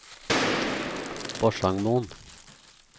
Porsangmoen